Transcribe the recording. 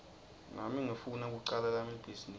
nami ngifuna kucala lami libhizinisi